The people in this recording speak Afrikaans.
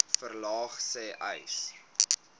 verlaag sê uys